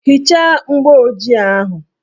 Hichaa mgbooji ahụ!